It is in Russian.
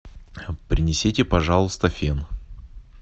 принесите пожалуйста фен